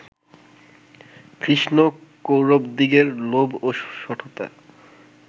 কৃষ্ণ কৌরবদিগের লোভ ও শঠতা